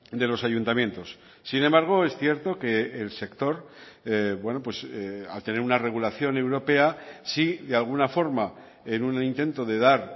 de los ayuntamientos sin embargo es cierto que el sector al tener una regulación europea sí de alguna forma en un intento de dar